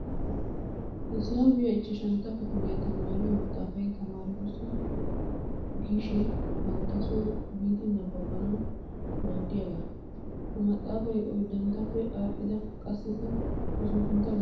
Hisaabiya ichchashantta kifiliya tamaariyo maxxaafay tamaaretussi gishin banttasoo biidi nababbanawu maaddiyaagaa. Ha maxxaafay oyiddanttappe aadhdhida qassikka usuppuntta gakkibeenna naatussi imettes.